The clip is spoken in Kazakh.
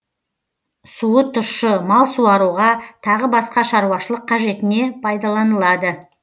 суы тұщы мал суаруға тағы басқа шаруашылық қажетіне пайдаланылады